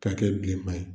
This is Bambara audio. K'a kɛ bilenman ye